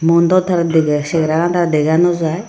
mun daw taar degey chehara gan taar dega naw jaai.